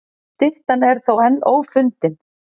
Styttan er þó enn ófundin.